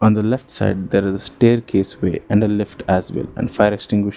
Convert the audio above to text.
On the left side there is a staircase way and a lift as well and fire extinguisher.